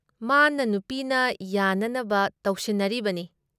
ꯃꯥꯅ ꯅꯨꯄꯤꯅ ꯌꯥꯅꯅꯕ ꯇꯧꯁꯤꯟꯅꯔꯤꯕꯅꯤ ꯫"